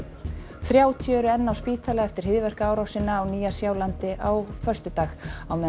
þrjátíu eru enn á spítala eftir hryðjuverkaárásina á Nýja Sjálandi á föstudag á meðan